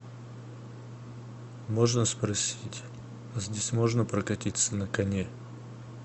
можно спросить здесь можно прокатиться на коне